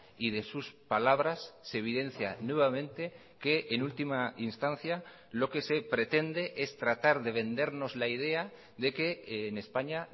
y de sus palabras se evidencia nuevamente que en última instancia lo que se pretende es tratar de vendernos la idea de que en españa